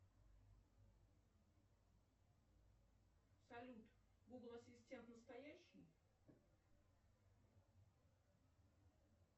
салют гугл ассистент настоящий